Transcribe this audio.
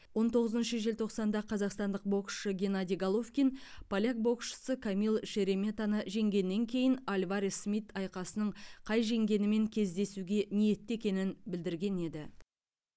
он тоғызыншы желтоқсанда қазақстандық боксшы геннадий головкин поляк боксшысы камил шереметаны жеңгеннен кейін альварес смит айқасының қай жеңгенімен кездесуге ниетті екенін білдірген еді